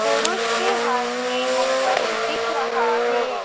पुरुष के हाथ में मोबाइल दिख रहा हैं।